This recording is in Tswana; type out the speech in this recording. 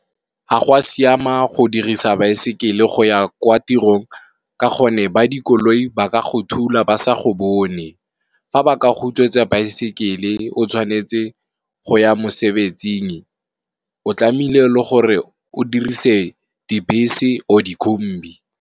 Ga go a siama go dirisa baesekele go ya kwa tirong ka gonne, ba dikoloi ba ka go thula ba sa go bone. Fa ba ka go utswetsa baesekele o tshwanetse go ya mosebetsing o tlamehile o dirise dibese or di kombi.